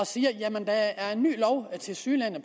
siger jamen der er tilsyneladende